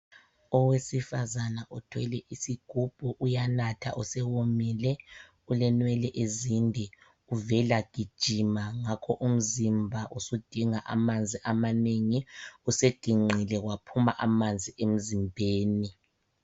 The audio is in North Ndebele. Owesifazana othwele isigubhu uyanatha usewomile. Ulenwele ezinde uvela gijima. Ngakho umzimba usudinga amanzi amanengi. Useginqile waphuma amanzi emzimbeni.